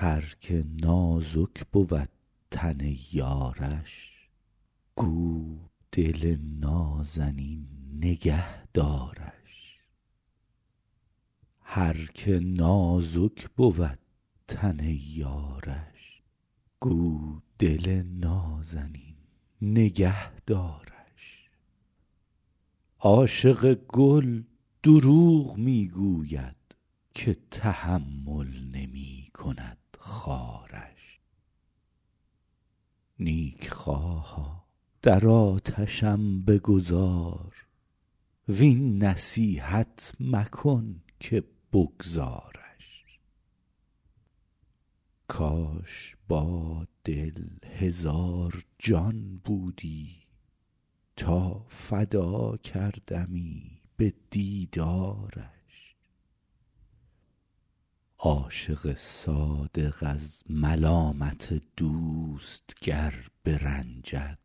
هر که نازک بود تن یارش گو دل نازنین نگه دارش عاشق گل دروغ می گوید که تحمل نمی کند خارش نیکخواها در آتشم بگذار وین نصیحت مکن که بگذارش کاش با دل هزار جان بودی تا فدا کردمی به دیدارش عاشق صادق از ملامت دوست گر برنجد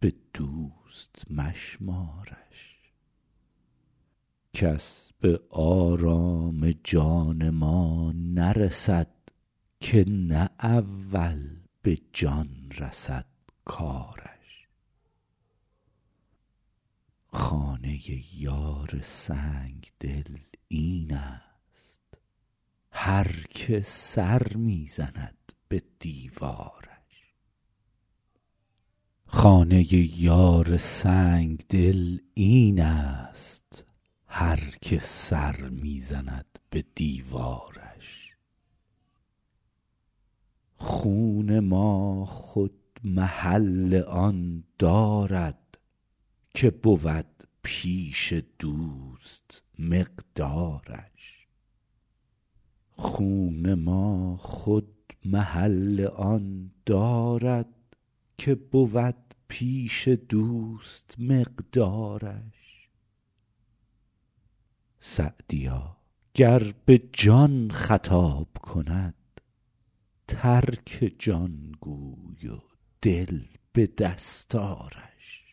به دوست مشمارش کس به آرام جان ما نرسد که نه اول به جان رسد کارش خانه یار سنگدل این است هر که سر می زند به دیوارش خون ما خود محل آن دارد که بود پیش دوست مقدارش سعدیا گر به جان خطاب کند ترک جان گوی و دل به دست آرش